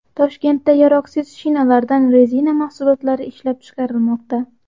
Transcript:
Toshkentda yaroqsiz shinalardan rezina mahsulotlari ishlab chiqarilmoqda.